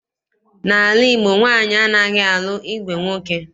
N'ala Igbo, nwaanyị anaghị alụ ìgwè nwoke.